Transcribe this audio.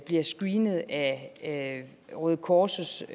bliver screenet af røde kors